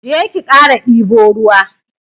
Je ki kara dibo ruwa.